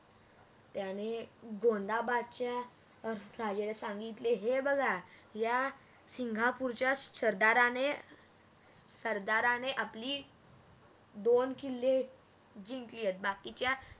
त्याने गोंदाबादच्या राजाला सांगितले हे बघा या सिंगापूरच्या सरदाराणे सरदाराणे आपली दोन किल्ले जिंकलीत बाकीच्या